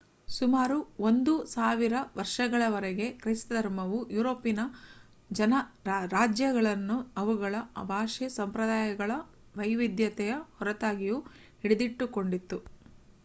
ಸುಮಾರು ಒಂದು ಸಾವಿರ ವರ್ಷಗಳವರೆಗೆ ಕ್ರೈಸ್ತ ಧರ್ಮವು ಯೂರೋಪಿನ ರಾಜ್ಯಗಳನ್ನು ಅವುಗಳ ಭಾಷೆ ಸಂಪ್ರದಾಯಗಳ ವೈವಿಧ್ಯತೆಯ ಹೊರತಾಗಿಯೂ ಹಿಡಿದಿಟ್ಟುಕೊಂಡಿತ್ತು